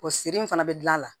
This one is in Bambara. O siri in fana bɛ dilan a la